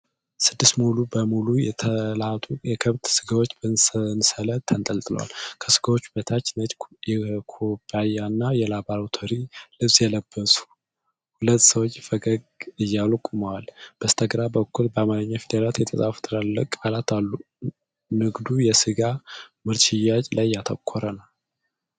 ስድስት ሙሉ በሙሉ የተላጡ የከብት ሥጋዎች በሰንሰለት ተንጠልጥለዋል። ከሥጋዎቹ በታች ነጭ የኮብያና የላቦራቶሪ ልብስ የለበሱ ሁለት ሰዎች ፈገግ እያሉ ቆመዋል። በስተግራ በኩል በአማርኛ ፊደላት የተጻፉ ትላልቅ ቃላት አሉ። ንግዱ የሥጋ ምርት ሽያጭ ላይ ያተኮረ ነው።